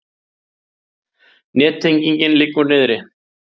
Nettenging liggur niðri